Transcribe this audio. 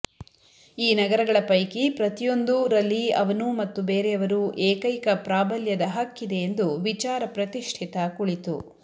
ಈ ನಗರಗಳ ಪೈಕಿ ಪ್ರತಿಯೊಂದೂ ರಲ್ಲಿ ಅವನು ಮತ್ತು ಬೇರೆಯವರು ಏಕೈಕ ಪ್ರಾಬಲ್ಯದ ಹಕ್ಕಿದೆ ಎಂದು ವಿಚಾರ ಪ್ರತಿಷ್ಠಿತ ಕುಳಿತು